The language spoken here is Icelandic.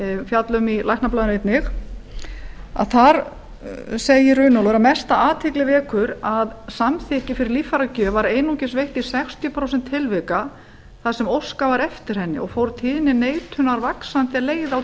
fjalla um í læknablaðinu einnig þar segir runólfur mesta athygli vekur að samþykki fyrir líffæragjöf var einungis veitt í sextíu prósent tilvika þar sem óskað var eftir henni og fór tíðni neitunar vaxandi er leið á